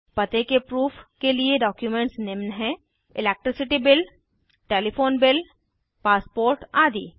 पते के प्रूफ के लिए डॉक्युमेंट्स निम्न हैं electricity bill telephone bill passport आदि